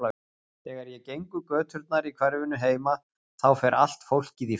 Þegar ég geng um göturnar í hverfinu heima þá fer allt fólkið í felur.